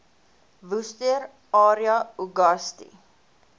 worcester area uagasti